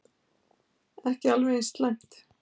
Ekki alveg eins slæmt.